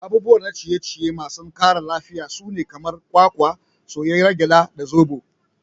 Abubuwa na ciye ciye masu ƙara lafiya sune kamar kwakwa, soyayyiyar gyada, da zoɓo.